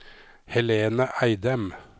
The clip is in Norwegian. Helene Eidem